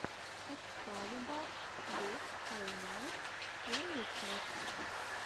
экскалибарс дот хайлайтс первая часть